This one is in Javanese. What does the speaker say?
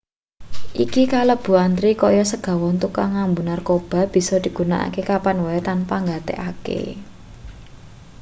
iki kalebu antri kaya segawon tukang ngambu-narkoba bisa digunakake kapan wae tanpa nggatekake